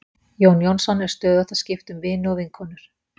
Jón Jónsson er stöðugt að skipta um vini og vinkonur.